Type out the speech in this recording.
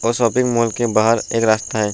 और shopping mall के बहार एक रास्ता है।